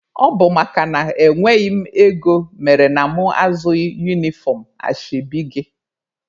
Ọ bụ makana enweghị m ego mere na mụ azụghị unifọm ashebi gị.